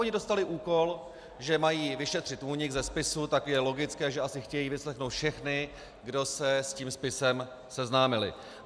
Oni dostali úkol, že mají vyšetřit únik ze spisu, tak je logické, že asi chtějí vyslechnout všechny, kdo se s tím spisem seznámili.